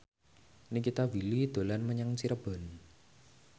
Nikita Willy dolan menyang Cirebon